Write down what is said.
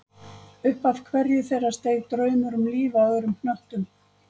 Upp af hverju þeirra steig draumur um líf á öðrum hnöttum.